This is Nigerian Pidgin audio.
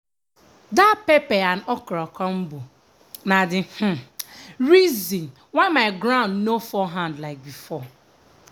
that pepper and okra combo na the um reason my ground nor fall hand like before.